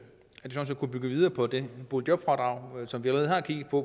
kunne bygge videre på det boligjobfradrag som vi allerede har kigget på